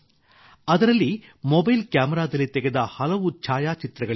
ಅದರಲ್ಲಿ ಮೊಬೈಲ್ ಕ್ಯಾಮೆರಾದಲ್ಲಿ ತೆಗೆದ ಹಲವು ಛಾಯಾಚಿತ್ರಗಳಿದ್ದವು